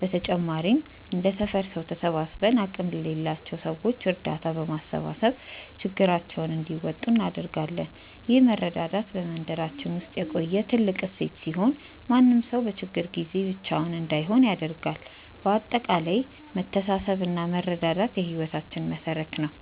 በተጨማሪም እንደ ሰፈር ሰው ተሰባስበን አቅም ለሌላቸው ሰዎች እርዳታ በማሰባሰብ ችግራቸውን እንዲወጡ እናደርጋለን። ይህ መረዳዳት በመንደራችን ውስጥ የቆየ ትልቅ እሴት ሲሆን፣ ማንም ሰው በችግር ጊዜ ብቻውን እንዳይሆን ያደርጋል። በአጠቃላይ መተሳሰብና መረዳዳት የህይወታችን መሠረት ነው።